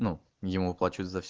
емуп